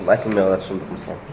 айтылмай қалады шындық мысалы